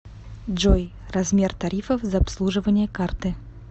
джой размер тарифов за обслуживание карты